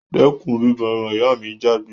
Dẹ́kun bíbọ eran! ìyá mi jágbé